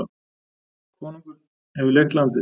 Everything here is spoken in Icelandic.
Konungur hefur leigt landið.